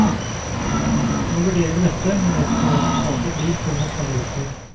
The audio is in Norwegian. Nå vurderer vi dette, men vet ikke hva resultatet blir før om et par uker.